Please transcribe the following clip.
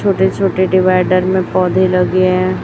छोटे छोटे डिवाइडर में पौधे लगे हैं।